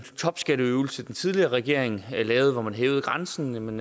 topskatteøvelse den tidligere regering lavede hvor man hævede grænsen